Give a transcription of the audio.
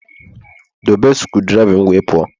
Dobe screwdriver m wee pụọ!